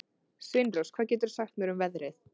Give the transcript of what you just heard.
Sveinrós, hvað geturðu sagt mér um veðrið?